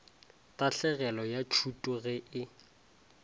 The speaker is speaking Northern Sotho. tahlegelo ya tšhuto ge e